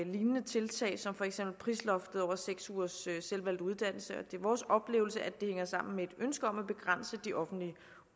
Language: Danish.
lignende tiltag som for eksempel prisloftet over seks ugers selvvalgt uddannelse og det er vores oplevelse at det hænger sammen med et ønske om at begrænse de offentlige